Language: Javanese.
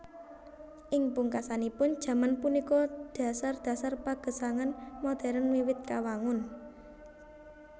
Ing pungkasanipun jaman punika dhasar dhasar pagesangan modern wiwit kawangun